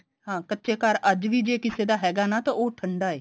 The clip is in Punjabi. ਹਾਂ ਕੱਚੇ ਘਰ ਅੱਜ ਵੀ ਜੇ ਕਿਸੇ ਦਾ ਹੈਗਾ ਨਾ ਤਾਂ ਉਹ ਠੰਡਾ ਹੈ